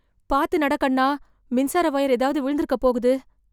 பார்த்து நட, கண்ணா. மின்சார வயர் எதாவது விழுந்திருக்கப் போகுது!